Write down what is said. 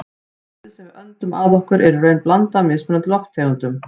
Loftið sem við öndum að okkur er í raun blanda af mismunandi lofttegundum.